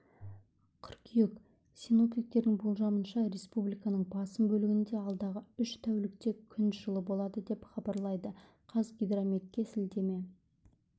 қыркүйек синоптиктердің болжамынша республиканың басым бөлігінде алдағы үш тәулікте күн жылы болады деп хабарлайды қазгидрометке сілтеме